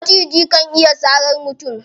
Maciji kan iya sarar mutum.